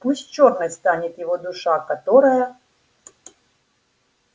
пусть чёрной станет его душа которая